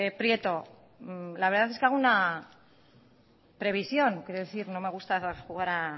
prieto la verdad es que hago una previsión no me gusta jugar a